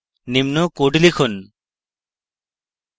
নিম্ন code লিখুন